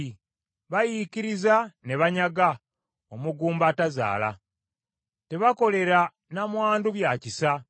Bayiikiriza ne banyaga omugumba atazaala. Tebakolera nnamwandu bya kisa.